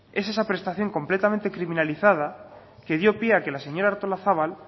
es esa prestación completamente criminalizada que dio pie que la señora artolazabal